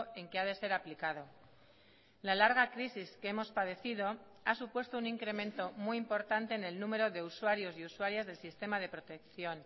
en que ha de ser aplicado la larga crisis que hemos padecido ha supuesto un incremento muy importante en el número de usuarios y usuarias del sistema de protección